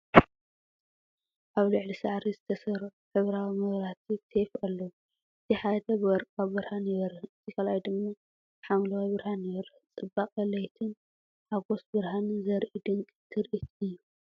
ኣብ ልዕሊ ሳዕሪ ዝተሰርዑ ሕብራዊ መብራህቲ ቴፕ ኣለዉ። እቲ ሓደ ብወርቃዊ ብርሃን ይበርህ፣ እቲ ካልኣይ ድማ ብሐምላይ ብርሃን ይበርህ፤ ጽባቐ ለይትን ሓጎስ ብርሃንን ዘርኢ ድንቂ ትርኢት እዩ።